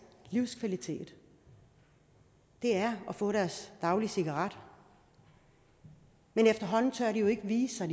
livskvalitet er at få deres daglige cigaret men efterhånden tør de jo ikke vise sig